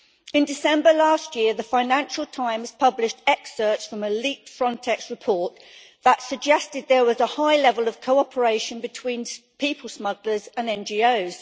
In December last year, the Financial Times published excerpts from a leaked Frontex report that suggested there was a high level of cooperation between people smugglers and NGOs.